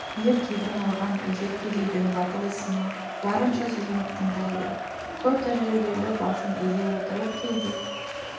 ер кегін алған өжет кедейдің батыл ісіне барынша сүйсініп тыңдайды көп тәжірибелі басын изей отырып кейде